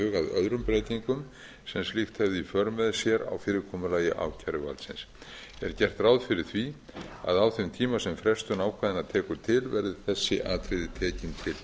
öðrum breytingum sem slíkt hefði í för með sér á fyrirkomulagi ákæruvaldsins er gert ráð fyrir því að á þeim tíma sem frestun ákvæðanna tekur til verði þessi atriði tekin til